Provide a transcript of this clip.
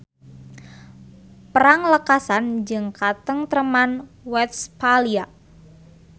Perang lekasan jeung Katengtreman Westphalia.